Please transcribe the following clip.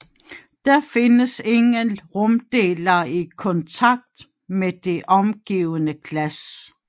Der findes ingen rumdelere i kontakt med det omgivende glas